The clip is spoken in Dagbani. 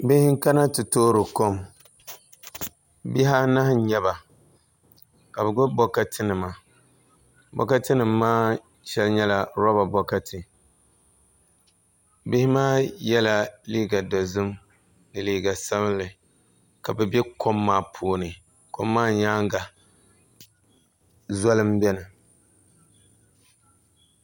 Bihi n kana ti toori kom bihi anahi n nyɛba ka bi gbubi bokati nima bokati nim maa shɛli nyɛla roba bokati bihi maa yɛla liiga dozim ni liiga sabinli ka bi bɛ kom maa puuni kom maa nyaanga zoli n biɛni